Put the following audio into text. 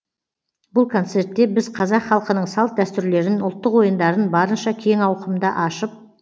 бұл концертте біз қазақ халқының салт дәстүрлерін ұлттық ойындарын барынша кең ауқымда ашып